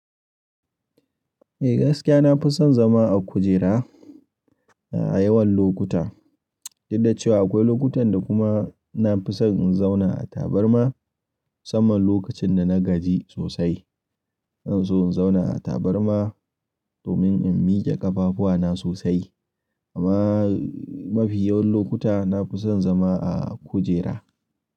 Eh gaskiya nafi son zama a kujera Eh gaskiya nafi son zama a kujera nafi son in zauna a tabarma saman lokacin da na gaji sosai. In so in zauna a tabarma domin in miƙe ƙafafuwana sosai. Amma mafi yawan lokuta nafi son zama a kujera.